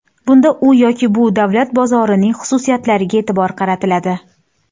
Bunda u yoki bu davlat bozorining xususiyatlariga e’tibor qaratiladi.